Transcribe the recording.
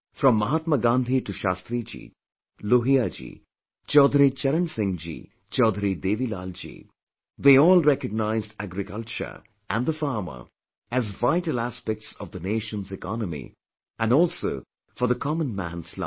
From Mahatma Gandhi to Shastri ji, Lohia ji, Chaudhari Charan Singh ji, Chaudhari Devi Lal ji they all recognized agriculture and the farmer as vital aspects of the nation's economy and also for the common man's life